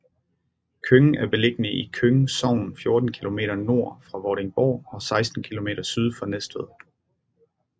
Køng er beliggende i Køng Sogn 14 kilometer nord for Vordingborg og 16 kilometer syd for Næstved